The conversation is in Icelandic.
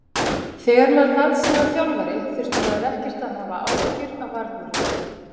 Þegar maður varð síðan þjálfari þurfti maður ekkert að hafa áhyggjur af varnarleiknum.